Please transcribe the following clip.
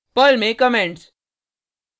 Perl में comments